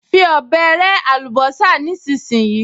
Fi ọ̀bẹ rẹ́ àlùbọ́sà nísinsìnyí!